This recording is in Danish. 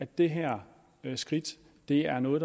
det her er jo noget af